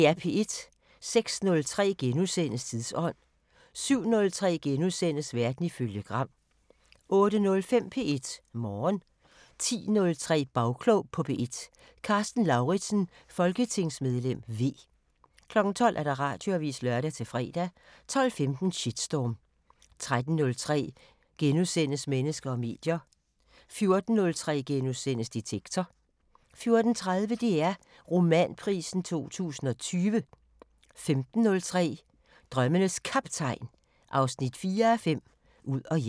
06:03: Tidsånd * 07:03: Verden ifølge Gram * 08:05: P1 Morgen 10:03: Bagklog på P1: Karsten Lauridsen, folketingsmedlem V 12:00: Radioavisen (lør-fre) 12:15: Shitstorm 13:03: Mennesker og medier * 14:03: Detektor * 14:30: DR Romanprisen 2020 15:03: Drømmenes Kaptajn 4:5 – Ud og hjem